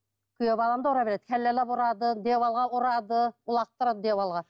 күйеу балам да ұра береді ұрады диванға ұрады лақтырады диванға